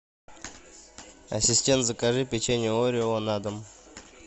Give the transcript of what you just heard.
ассистент закажи печенье орео на дом